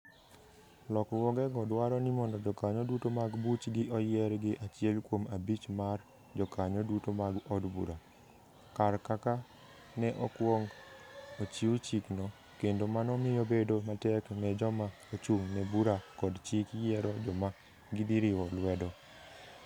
Lokruogego dwaro ni mondo jokanyo duto mag buchgi oyier gi achiel kuom abich mar jokanyo duto mag od bura, kar kaka ne okwong ochiw chikno, kendo mano miyo bedo matek ne joma ochung ' ne Bura kod Chik yiero joma gidhi riwo lwedo.